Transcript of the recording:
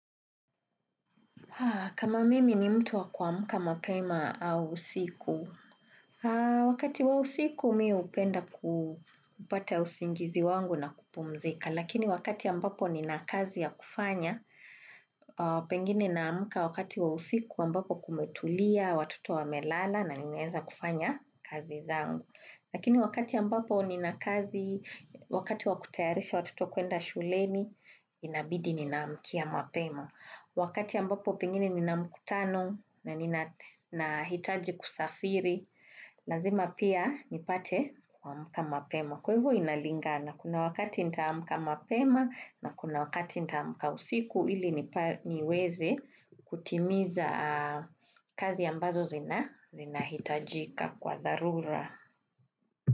Kama mimi ni mtu wa kuamka mapema au usiku. Wakati wa usiku mi hupenda kupata usingizi wangu na kupumzika. Lakini wakati ambapo nina kazi ya kufanya, pengine naamka wakati wa usiku ambapo kumetulia, watoto wamelala na nimeweza kufanya kazi zangu. Lakini wakati ambapo nina kazi, wakati wa kutayarisha watoto kuenda shulemi, inabidi ninaamkia mapema. Wakati ambapo pengine nina mkutano na ninahitaji kusafiri, lazima pia nipate kuamka mapema. Kwa hivyo inalingana kuna wakati nitaamka mapema na kuna wakati nitaamka usiku ili niweze kutimiza kazi ambazo zinahitajika kwa dharura.